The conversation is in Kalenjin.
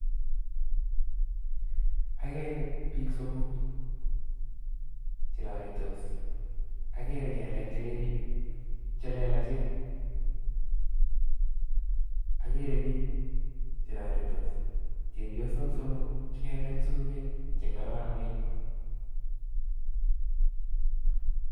Agere biik somok che roritos, agere kelek che lelachen, agere biik che roritos chepyosok somok che kelet sumek che kororonen.